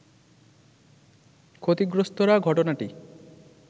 ক্ষতিগ্রস্তরা ঘটনাটি